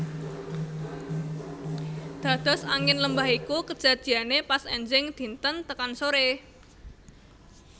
Dados Angin lembah iku kejadiane pas enjing dinten tekan sore